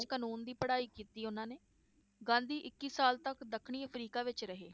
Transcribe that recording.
ਕਾਨੂੰਨ ਦੀ ਪੜ੍ਹਾਈ ਕੀਤੀ ਉਹਨਾਂ ਨੇ ਗਾਂਧੀ ਇੱਕੀ ਸਾਲ ਤੱਕ ਦੱਖਣੀ ਅਫ੍ਰੀਕਾ ਵਿਚ ਰਹੇ,